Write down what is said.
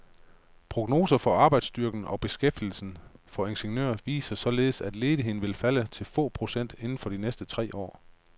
Prognoser for arbejdsstyrken og beskæftigelsen for ingeniører viser således, at ledigheden vil falde til få procent inden for de næste tre år.